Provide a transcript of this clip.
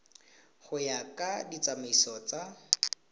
go ya ka ditsamaiso tsa